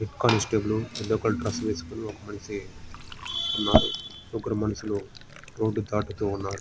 Head constable yellow colour dress వేసుకొని ఒక్క మనిషి ఉన్నారు. ముగ్గురు మనుషులు రోడ్ దాతుటు ఉన్నారు.